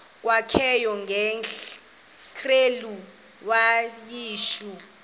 kwakanye ngekrele wayishu